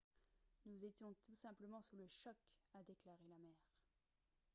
« nous étions tous simplement sous le choc » a déclaré la mère